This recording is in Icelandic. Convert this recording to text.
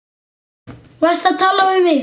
Varstu að tala við mig?